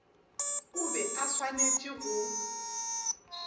o be a swanetše go